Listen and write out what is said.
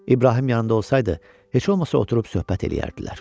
İbrahim yanında olsaydı, heç olmasa oturub söhbət eləyərdilər.